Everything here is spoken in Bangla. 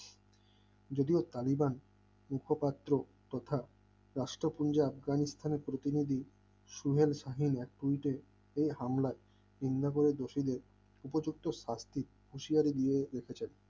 যদিও তালিবান ঐক্য পাত্র কথা রাষ্ট্রের আফগানিস্তানের প্রতিনিধি সোহেল শাহীন এক গুনতে হামলা না করা দোষীদের উপযুক্ত শাস্তি হুঁশিয়ারি দিয়ে রেখেছেন